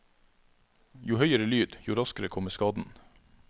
Jo høyere lyd, jo raskere kommer skaden.